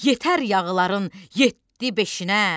yetər yağıların yeddi beşinə.